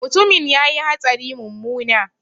Mutumin ya yi hatsari mummuna